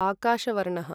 आकाशवर्णः